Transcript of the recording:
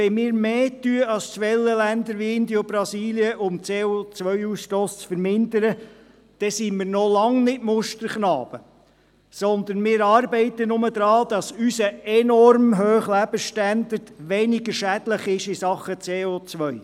Wenn wir mehr dafür tun als Schwellenländer wie Indien und Brasilien, um den CO-Ausstoss zu vermindern, sind wir noch lange keine Musterknaben, sondern wir arbeiten daran, dass unser enorm hoher Lebensstandard weniger schädlich ist in Bezug auf CO.